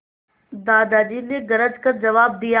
दादाजी ने गरज कर जवाब दिया